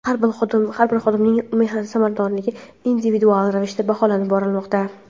har bir xodimning mehnat samaradorligi individual ravishda baholab borilmoqda.